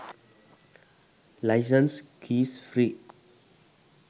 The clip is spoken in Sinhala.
license keys free